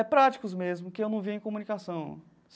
É, práticos mesmo, que eu não via em comunicação.